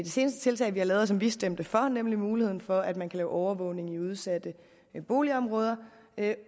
seneste tiltag vi har lavet og som vi stemte for nemlig muligheden for at man kan lave overvågning i udsatte boligområder